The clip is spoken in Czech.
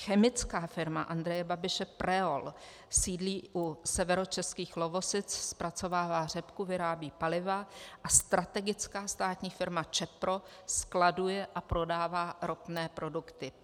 Chemická firma Andreje Babiše Preol sídlí u severočeských Lovosic, zpracovává řepku, vyrábí paliva a strategická státní firma Čepro skladuje a prodává ropné produkty.